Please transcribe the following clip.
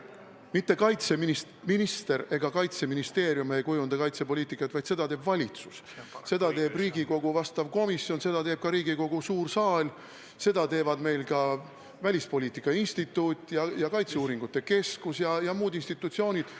Mitte kaitseminister ega Kaitseministeerium ei kujunda kaitsepoliitikat, vaid seda teeb valitsus, seda teeb Riigikogu vastav komisjon, seda teeb ka Riigikogu suur saal, seda teevad ka meie välispoliitika instituut ja kaitseuuringute keskus ja muud institutsioonid.